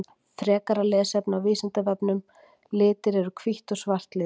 Frekara lesefni á Vísindavefnum Litir Eru hvítt og svart litir?